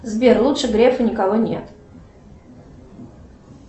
сбер лучше грефа никого нет